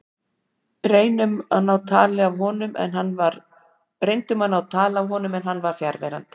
Reyndum við að ná tali af honum en hann var fjarverandi.